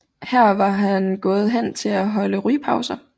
Her var han gået hen for at holde rygepause